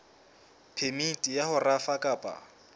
phemiti ya ho rafa kapa